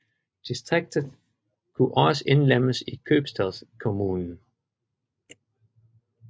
Distriktet kunne også indlemmes i købstadskommunen